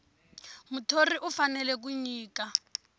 muthori u fanele ku nyika